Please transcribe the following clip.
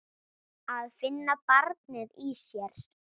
Að finna barnið í sér.